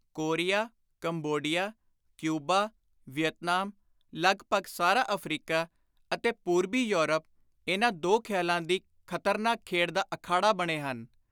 Korea, Cambodia, Cuba, Vietnam, ਲਗਭਗ ਸਾਰਾ Africa ਅਤੇ ਪੁਰਬੀ ਯੌਰਪ ਇਨ੍ਹਾਂ ਦੋ ਖ਼ਿਆਲਾਂ ਦੀ ਖ਼ਤਰਨਾਕ ਖੇਡ ਦਾ ਅਖਾੜਾ ਬਣੇ ਹਨ।